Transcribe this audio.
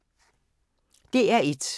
DR1